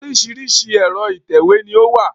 Oríṣiríṣi ẹ̀rọ ìtẹ̀wé ni o wà.